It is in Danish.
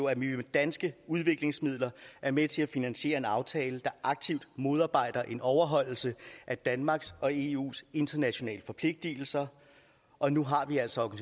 at vi med danske udviklingsmidler er med til at finansiere en aftale der aktivt modarbejder en overholdelse af danmarks og eus internationale forpligtelser og nu har vi altså